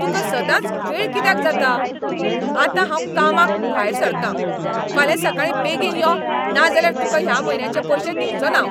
तुका सदांच वेळ कित्याक जाता ? आतां हांव कामाक भायर सरता! फाल्यां सकाळीं बेगीन यो ना जाल्यार तुका ह्या म्हयन्याचें पयशें दिवचो ना हांव.